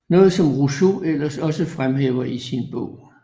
Noget som Rousseau ellers også fremhæver i sin bog